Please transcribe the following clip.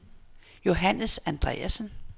Johannes Andreasen